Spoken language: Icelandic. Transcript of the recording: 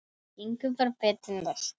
Það gengur bara betur næst.